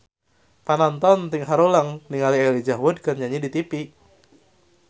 Panonton ting haruleng ningali Elijah Wood keur nyanyi di tipi